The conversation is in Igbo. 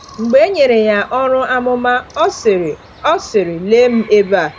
Mgbe e nyere ya ọrụ amụma, ọ sịrị: ọ sịrị: “Lee m ebe a!”